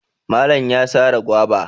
Malan ya sare gwaiba.